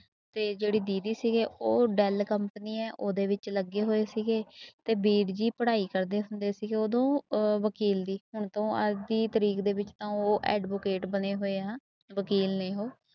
ਤੇ ਜਿਹੜੀ ਦੀਦੀ ਸੀਗੇ ਉਹ ਡੈਲ company ਹੈ ਉਹਦੇ ਵਿੱਚ ਲੱਗੇ ਹੋਏ ਸੀਗੇ ਤੇ ਵੀਰ ਜੀ ਪੜ੍ਹਾਈ ਕਰਦੇ ਹੁੰਦੇ ਸੀਗੇ ਉਦੋਂ ਅਹ ਵਕੀਲ ਦੀ ਹੁਣ ਤੋਂ ਅੱਜ ਦੀ ਤਰੀਕ ਦੇ ਵਿੱਚ ਤਾਂ ਉਹ advocate ਬਣੇ ਹੋਏ ਆ ਵਕੀਲ ਨੇ ਉਹ।